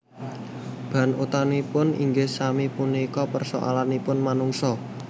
Bahan utaminipun inggih sami punika persoalanipun manungso